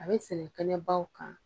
A bɛ sɛnɛ kɛnɛbaw kan.